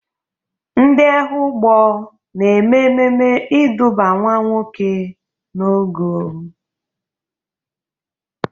Ndị Ehụgbọ na-eme ememe ịdụba nwa nwoke n'ogo.